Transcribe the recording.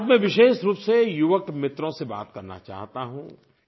आज मैं विशेष रूप से युवक मित्रों से बात करना चाहता हूँ